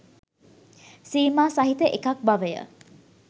සීමා සහිත එකක් බවය.